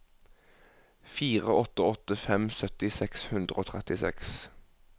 fire åtte åtte fem sytti seks hundre og trettiseks